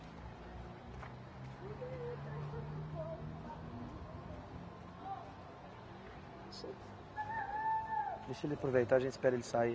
(sons de carros e gritos) Deixa ele aproveitar, a gente espera ele sair.